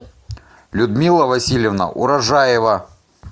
людмила васильевна урожаева